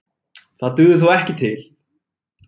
Það dugði þó ekki til